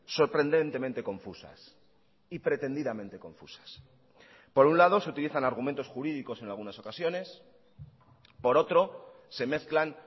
sorprendentemente confusas y pretendidamente confusas por un lado se utilizan argumentos jurídicos en algunas ocasiones por otro se mezclan